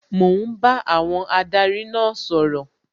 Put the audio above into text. Mò ń bá àwọn adarí náà sọ̀rọ̀